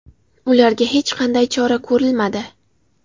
Ularga hech qanday chora ko‘rilmadi.